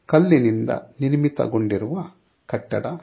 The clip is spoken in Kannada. ಕಲ್ಲಿನಿಂದ ನಿರ್ಮಿತ ಗೊಂಡಿರುವ ಕಟ್ಟಡ.